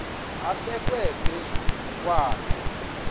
asekwe phezu kwaloo